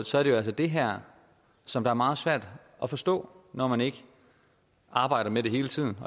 så er det jo altså det her som er meget svært at forstå når man ikke arbejder med det hele tiden